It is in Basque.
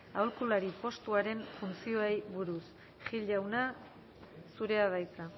aholkulari postuaren funtzioei buruz gil jauna zurea da hitza